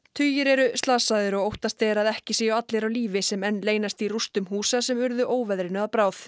tugir eru slasaðir og óttast er að ekki séu allir á lífi sem enn leynast í rústum húsa sem urðu óveðrinu að bráð